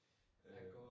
Øh